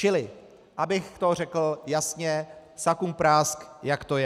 Čili abych to řekl jasně, sakumprásk, jak to je.